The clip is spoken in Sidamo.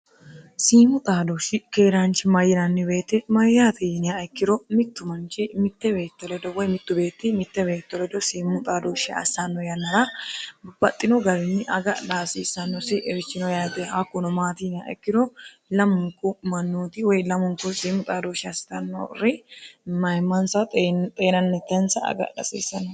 siimu xaadoshi keeraanchi ma yirannibeetti mayyaatiinia ikkiro mittu manchi mitte beetto ledo woy mittu beetti mittebeetto ledo siimu xaadooshshi assanno yannara bupaxxino garinyi agadha hasiissannosi richino yaate hakkuno maatiiniya ikkiro lamunku mannuoti woy lamunku siimu xaadooshi assannori mayimmansa xeenannitensa agadha hasiissanno